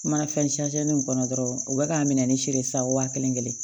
Manafɛn nin kɔnɔ dɔrɔn u bɛ k'a minɛ ni siri wa kelen kelen